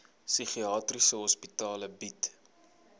psigiatriese hospitale bied